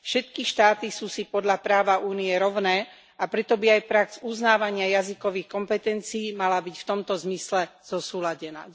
Všetky štáty sú si podľa práva Únie rovné, a preto by aj prax uznávania jazykových kompetencií mala byť v tomto zmysle zosúladená.